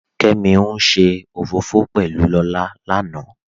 Kẹ́mí n ṣẹ ofọfọ̀ pẹ̀lú Lọlá lánà